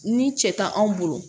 Ni cɛ tɛ anw bolo